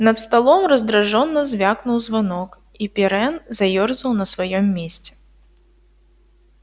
над столом раздражённо звякнул звонок и пиренн заёрзал на своём месте